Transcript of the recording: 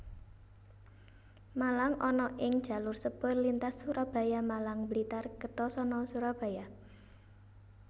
Malang ana ing jalur sepur lintas Surabaya Malang Blitar Kertosono Surabaya